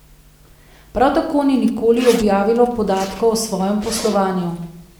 Prav tako ni nikoli objavilo podatkov o svojem poslovanju.